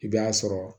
I b'a sɔrɔ